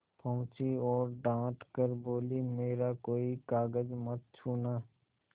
पहुँची और डॉँट कर बोलीमेरा कोई कागज मत छूना